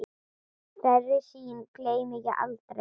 Þeirri sýn gleymi ég aldrei.